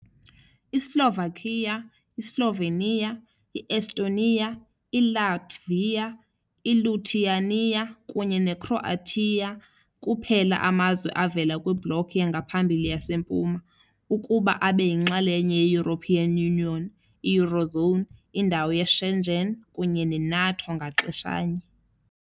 I-Slovakia, iSlovenia, i-Estonia, iLatvia, iLithuania kunye neCroatia kuphela amazwe avela kwiBloc yangaphambili yaseMpuma ukuba abe yinxalenye ye-European Union, i- Eurozone, indawo ye-Schengen kunye ne-NATO ngaxeshanye.